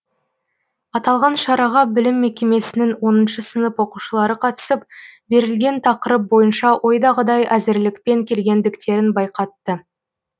аталған шараға білім мекемесінің оныншы сынып оқушылары қатысып берілген тақырып бойынша ойдағыдай әзірлікпен келгендіктерін байқатты